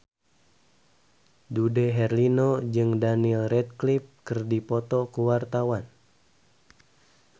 Dude Herlino jeung Daniel Radcliffe keur dipoto ku wartawan